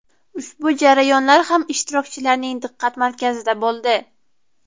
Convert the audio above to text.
Ushbu jarayonlar ham ishtirokchilarning diqqat markazida bo‘ldi.